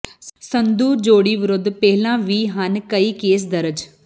ਸੰਧੂ ਜੋੜੀ ਵਿਰੁੱਧ ਪਹਿਲਾਂ ਵੀ ਹਨ ਕਈ ਕੇਸ ਦਰਜ